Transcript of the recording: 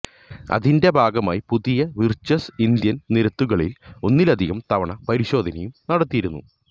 അതിന്റെ ഭാഗമായി പുതിയ വിർചസ് ഇന്ത്യൻ നിരത്തുകളിൽ ഒന്നിലധികം തവണ പരിശോധനയും നടത്തിയിരുന്നു